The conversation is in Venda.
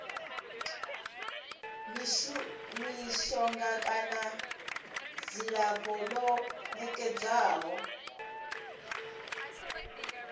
mishonga kana dzilafho ḽo nekedzwaho